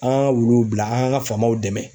An ŋ'an ŋa wuluw bila an ŋ'an ŋa faamaw dɛmɛ